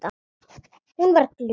Hún var glöð.